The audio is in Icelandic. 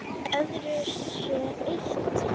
Öðru sé eytt